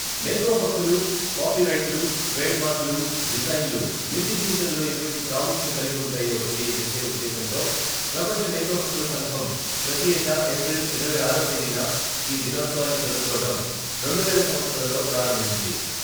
మేథో హక్కులు, కాపీ రైట్లు, ట్రేడ్ మార్కులు, డిజైన్లు నిత్య జీవితంలో ఎటువంటి ప్రాముఖ్యం కలిగి ఉంటాయో తెలియచేసే ఉద్దేశ్యంతో ప్రపంచ మేథో హక్కుల సంఘం ప్రతి ఏటా ఏప్రిల్ ఇరవై ఆరవ తేదీన ఈ దినోత్సవాన్ని జరుపుకోవడం రెండువేల సంవత్సరంలో ప్రారంభించింది.